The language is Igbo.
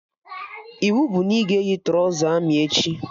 Iwu bụ na ị ga-eyi trọza amị echi!